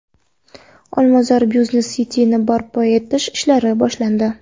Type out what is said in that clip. Olmazor Business City’ni barpo etish ishlari boshlandi.